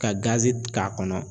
Ka gazi k'a kɔnɔ.